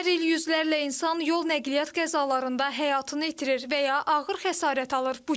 Hər il yüzlərlə insan yol nəqliyyat qəzalarında həyatını itirir və ya ağır xəsarət alır.